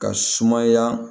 Ka sumaya